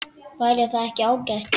Væri það ekki ágætt?